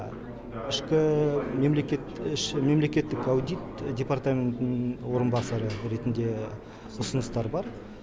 ішкі мемлекет мемлекеттік аудит департаментінің орынбасары ретінде ұсыныстар бар